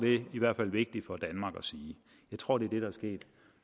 i hvert fald vigtigt for danmark at sige jeg tror det